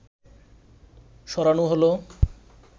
সরানো হলো